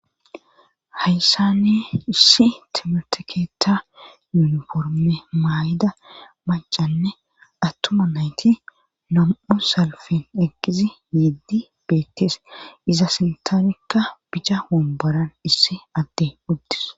hayssani issi timerte keetha yuniforme maayida macanne attuma nayti nam7u salfen eqqizi yeddi beettes iza sintaanikka bicca womboran issi addey uttis